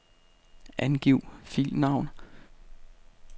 Angiv filnavn.